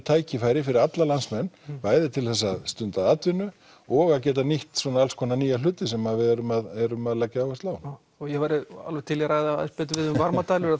tækifæri fyrir alla landsmenn bæði til að stunda atvinnu og að geta nýtt alls konar nýja hluti sem við erum að erum að leggja áherslu á já ég væri alveg til í að ræða aðeins betur við þig um varmadælur